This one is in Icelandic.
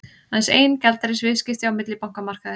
Aðeins ein gjaldeyrisviðskipti á millibankamarkaði